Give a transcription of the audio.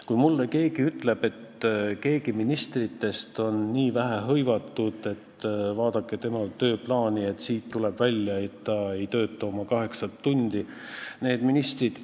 Kui mulle keegi ütleb, et mõni minister on vähe hõivatud, et vaadake tema tööplaani, sellest tuleb välja, et ta ei tööta kaheksa tundi päevas – no ei!